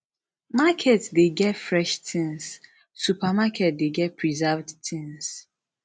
market de get fresh things supermarket de get preserved things